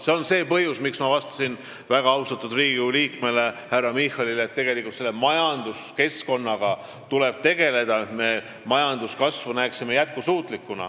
See on põhjus, miks ma vastasin väga austatud Riigikogu liikmele härra Michalile, et majanduskeskkonnaga tuleb tegeleda, et majanduskasv oleks jätkusuutlik.